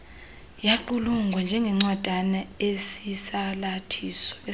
yaqulunqwa njengencwadana esisalathiso